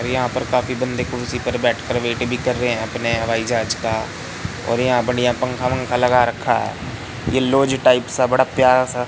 यहां पर काफी बंदे कुर्सी पर बैठ कर वेट भी कर रहे अपने हवाई जहाज का और बढ़िया-बढ़िया पंखा वंखा लगा रखा ये लॉज टाइप सा बड़ा प्यारा सा --